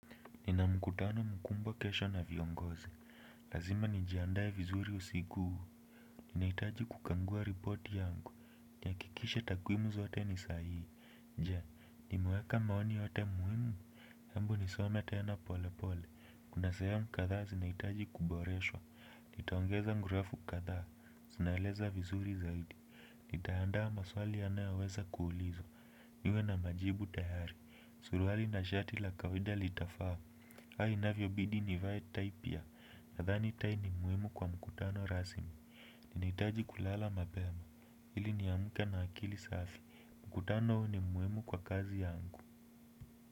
Nina mkutano mkubwa kesho na viongozi. Lazima nijiandae vizuri usiku. Ninahitaji kukagua ripoti yangu. Nitahakikisha takwimu zote ni sahii. Je, nimeweka maoni yote muhimu. Hebu nisome tena pole pole. Kuna sehemu kadhaa zinahitaji kuboreshwa. Nitaongeza mrefu kadhaa. Sinaeleza vizuri zaidi. Nitaandaa maswali yanayoweza kuulizwa. Niwe na majibu tayari. Suruali na shati la kawaida litafaa. Hai inavyobidi nivae tai pia nadhani tai ni muhimu kwa mkutano rasmi. Ninahitaji kulala mapema. Ili niamke na akili safi. Mkutano huu ni muhimu kwa kazi yangu.